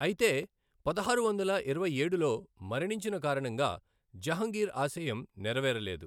అయితే పదహారు వందల ఇరవై ఏడులో మరణించిన కారణంగా జహంగీర్ ఆశయం నెరవేరలేదు.